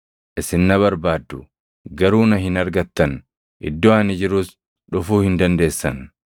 Isin na barbaaddu; garuu na hin argattan; iddoo ani jirus dhufuu hin dandeessan.”